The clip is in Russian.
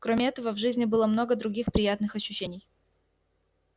кроме этого в жизни было много других приятных ощущений